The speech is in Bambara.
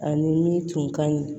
Ani min tun ka ɲi